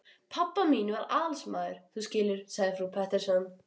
Pabba mín var aðalsmaður, þú skilur, sagði frú Pettersson.